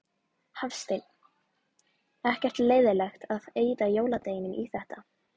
Hafsteinn: Ekkert leiðilegt að eyða jóladeginum í þetta?